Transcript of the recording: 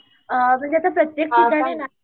अ म्हणजे आता प्रत्येक ठिकाणीना